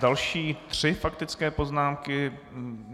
Další tři faktické poznámky.